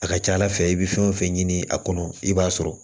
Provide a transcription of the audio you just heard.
A ka ca ala fɛ i bɛ fɛn o fɛn ɲini a kɔnɔ i b'a sɔrɔ